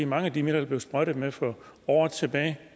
mange af de midler der blev sprøjtet med for år tilbage